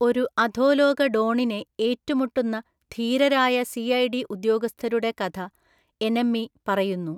ഒരു അധോലോക ഡോണിനെ ഏറ്റുമുട്ടുന്ന ധീരരായ സിഐഡി ഉദ്യോഗസ്ഥരുടെ കഥ എനെമ്മി പറയുന്നു.